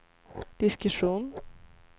diskussion